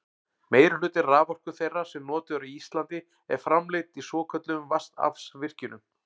meirihluti raforku þeirrar sem notuð er á íslandi er framleidd í svokölluðum vatnsaflsvirkjunum